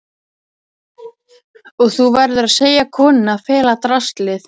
Og þú verður að segja konunni að fela draslið.